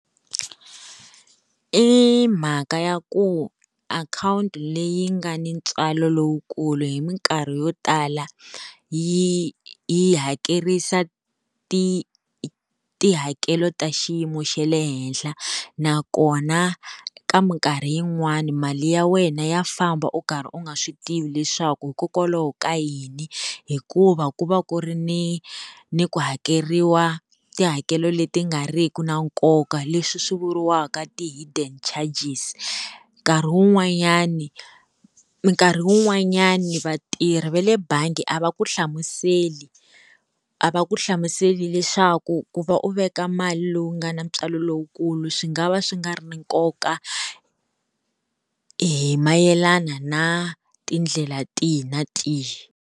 I mhaka ya ku akhawunti leyi nga ni ntswalo lowukulu hi minkarhi yo tala yi yi hakerisa ti tihakelo ta xiyimo xa le henhla, nakona ka minkarhi yin'wani mali ya wena ya famba u karhi u nga swi tivi leswaku hikokwalaho ka yini, hikuva ku va ku ri ni ni ku hakeriwa tihakelo leti nga ri ki na nkoka, leswi swi vuriwaka ti hidden charges. Nkarhi wun'wanyani nkarhi wun'wanyani vatirhi va le bangi a va ku hlamusela a va ku hlamusela leswaku ku va u veka mali lowu nga na ntswalo lowukulu swi nga va swi nga ri na nkoka hi mayelana na tindlela tihi na tihi.